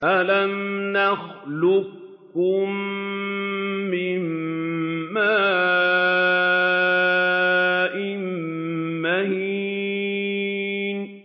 أَلَمْ نَخْلُقكُّم مِّن مَّاءٍ مَّهِينٍ